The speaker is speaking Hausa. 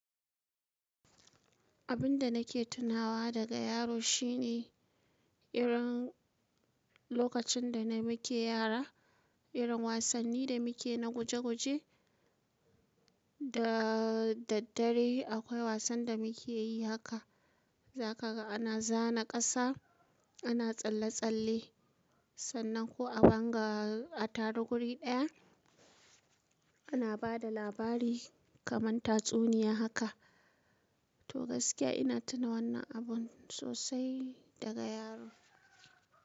Abin da nake tunawa daga yaro shine irin lokacin da muke yara, irin wasanni da muke na guje guje. Da daddare akwai wasan da muke yi haka za ka ga ana zana ƙasa, ana tsalle tsalle sannan ko a banga a taru guri ɗaya ana ba da labari kaman tatsuniya haka. To gaskiya ina tuna wannan abun sosai daga yaro.